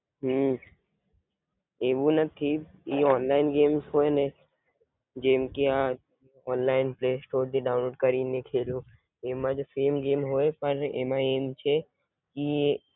હમ એવું નાથી ઈ online games હોઈને જેમકે આ ઑનલાઇન પલેસ્ટોર પર થી ડાઉનલોડ કરીને ખેલો એમાં જ સામે ગેમ્સ હોય અને એમાં એમ છે ઈ